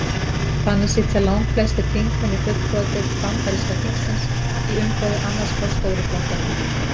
Þannig sitja langflestir þingmenn í fulltrúadeild bandaríska þingsins í umboði annars hvors stóru flokkanna.